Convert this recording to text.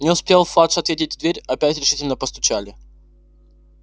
не успел фадж ответить в дверь опять решительно постучали